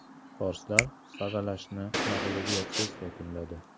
Forslar saralashni mag‘lubiyatsiz yakunladi.